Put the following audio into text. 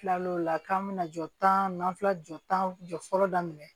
Tilal'o la k'an bɛna jɔta n'an filɛ jɔ tan jɔ fɔlɔ daminɛ